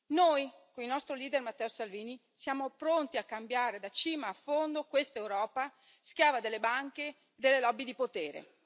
Noi, con il nostro leader Matteo Salvini, siamo pronti a cambiare da cima a fondo questa Europa schiava delle banche e delle lobby di potere.